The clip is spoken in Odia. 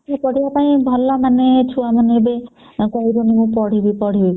ପଢିବା ପାଇଁ ଭଲ ଏବେ ମାନେ ଛୁଆ ମାନେ ଏବେ କହିଲେନି ଏବେ ପଢିବ ପଢିବ ବୋଲି